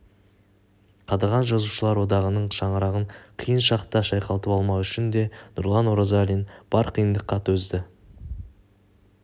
қадаған жазушылар одағының шаңырағын қиын шақта шайқалтып алмау үшін де нұрлан оразалин бар қиындыққа төзді